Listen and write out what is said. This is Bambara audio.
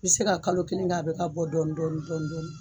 I bɛ se ka kalo kelen kɛ, a bɛ ka bɔ dɔɔni dɔɔni dɔɔni